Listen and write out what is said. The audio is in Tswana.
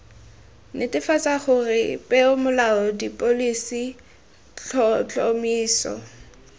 netefatsa gore peomolao dipholisi tlhotlhomiso